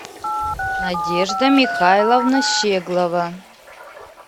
надежда михайловна щеглова